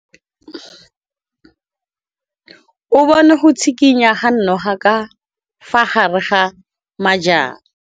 O bone go tshikinya ga noga ka fa gare ga majang.